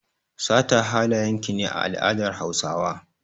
Sata halayen ki ne a al'adar Hausawa.